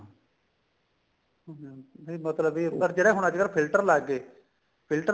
ਹਮ ਨਹੀਂ ਮਤਲਬ ਇਹ ਪਰ ਜਿਹੜਾ ਹੁਣ ਅੱਜਕਲ filter ਲੱਗ ਗਏ filter